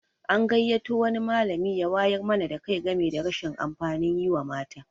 An gayyato wani malami ya wayar mana da kai game da rashin amfanin yi wa mata.